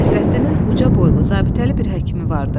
Nəsrəddinin uca boylu, zabitəli bir həkimi vardı.